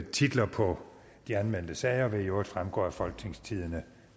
titlerne på de anmeldte sager vil i øvrigt fremgå af folketingstidende